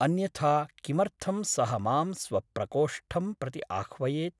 अन्यथा किमर्थं सः मां स्व प्रकोष्ठं प्रति आह्वयेत् ?